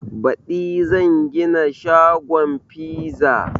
Baɗi zan gina shagon fiza